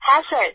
হ্যাঁ স্যার